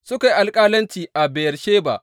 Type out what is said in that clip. Suka yi alƙalanci a Beyersheba.